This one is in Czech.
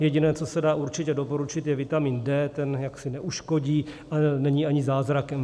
Jediné, co se dá určitě doporučit, je vitamín D, ten jaksi neuškodí, ale není ani zázrakem.